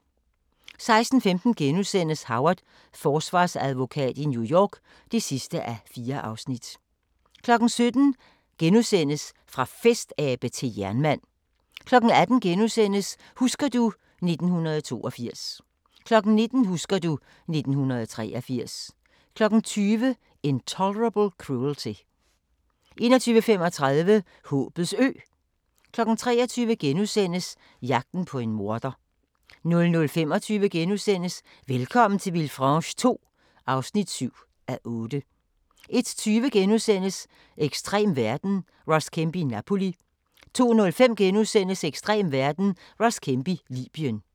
16:15: Howard – Forsvarsadvokat i New York (4:4)* 17:00: Fra festabe til jernmand * 18:00: Husker du ... 1982 * 19:00: Husker du ... 1983 20:00: Intolerable Cruelty 21:35: Håbets Ø 23:00: Jagten på en morder * 00:25: Velkommen til Villefranche II (7:8)* 01:20: Ekstrem verden – Ross Kemp i Napoli * 02:05: Ekstrem verden – Ross Kemp i Libyen *